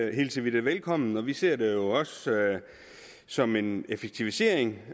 hilser vi det velkommen og vi ser det jo også som en effektivisering